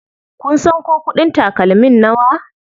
Kun san ko kuɗin takalmin nawa?